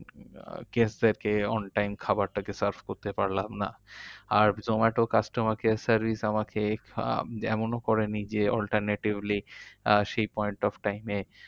Guest দের কে on time খাবারটাকে serve করতে পারলাম না। আর জোম্যাটোর customer care service আমাকে যেমন ও করেনি যে alternatively আহ সেই point of time এ